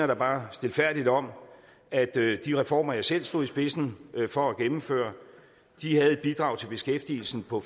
da bare stilfærdigt om at de reformer jeg selv stod i spidsen for at gennemføre havde et bidrag til beskæftigelsen på